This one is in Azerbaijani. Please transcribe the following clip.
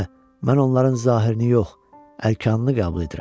mən onların zahirini yox, əlkanını qəbul edirəm.